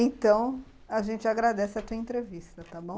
Então, a gente agradece a tua entrevista, tá bom?